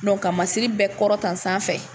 ka masiri bɛɛ kɔrɔtan sanfɛ.